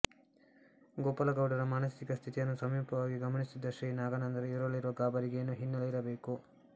ಗೋಪಾಲಗೌಡರ ಮಾನಸಿಕ ಸ್ಥಿತಿಯನ್ನು ಸಮೀಪವಾಗಿ ಗಮನಿಸುತ್ತಿದ್ದ ಶ್ರೀ ನಾಗಾನಂದರು ಇವರಲ್ಲಿರುವ ಗಾಬರಿಗೆ ಏನೋ ಹಿನ್ನೆಲೆಯಿರಬೇಕು